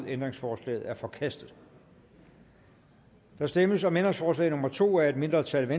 ændringsforslaget er forkastet der stemmes om ændringsforslag nummer to af et mindretal